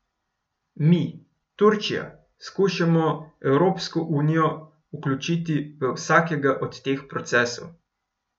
Mi, Turčija, skušamo Evropsko unijo vključiti v vsakega od teh procesov.